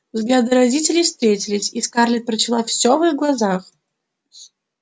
взгляды родителей встретились и скарлетт прочла все в их глазах